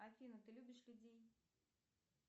афина ты любишь людей